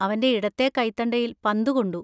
അവൻ്റെ ഇടത്തേ കൈത്തണ്ടയിൽ പന്ത് കൊണ്ടു.